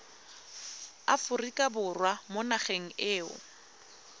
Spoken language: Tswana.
aforika borwa mo nageng eo